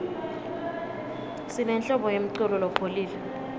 sinenhlobo yemiculo lopholile